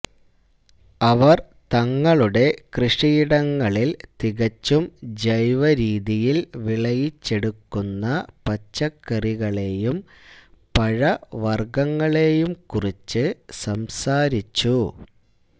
അവര് തങ്ങളുടെ കൃഷിയിടങ്ങളില് തികച്ചും ജൈവരീതിയില് വിളയിച്ചെടുക്കുന്ന പച്ചക്കറികളെയും പഴവര്ഗ്ഗങ്ങളെയും കുറിച്ച് സംസാരിച്ചു